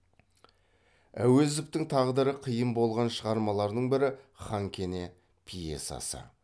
әуезовтің тағдыры қиын болған шығармалардың бірі хан кене пьесасы